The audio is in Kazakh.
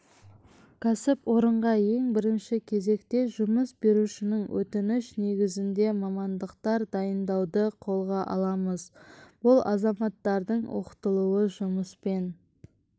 кәсіпорынға ең бірінші кезекте жұмыс берушінің өтініші негізінде мамандықтар дайындауды қолға аламыз бұл азаматтардың оқытылуы жұмыспен